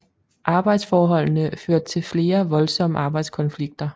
Arbejdsforholdene førte til flere voldsomme arbejdskonflikter